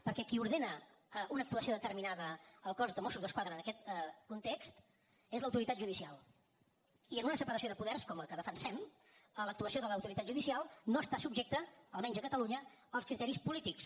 perquè qui ordena una actuació determinada al cos de mossos d’esquadra en aquest context és l’autoritat judicial i en una separació de poders com la que defensem l’actuació de l’autoritat judicial no està subjecta almenys a catalunya als criteris polítics